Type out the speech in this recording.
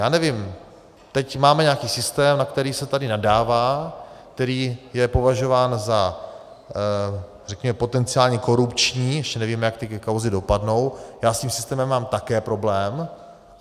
Já nevím, teď máme nějaký systém, na který se tady nadává, který je považován za, řekněme, potenciálně korupční, ještě nevíme, jak ty kauzy dopadnou, já s tím systémem mám taky problém.